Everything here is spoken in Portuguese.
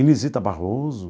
Inezita Barroso.